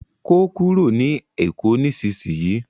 ko kúrò ní èkó nísìsiyìí!